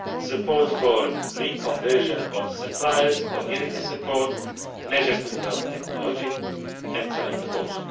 redundant, support for reconversion of suppliers, community support, measures to develop technology, and so on and